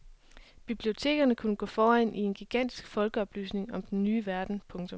Bibliotekerne kunne gå foran i en gigantisk folkeoplysning om den ny verden. punktum